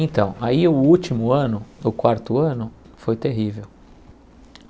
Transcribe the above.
Então, aí o último ano, o quarto ano, foi terrível.